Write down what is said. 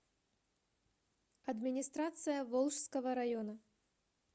администрация волжского района